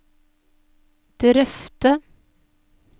drøfte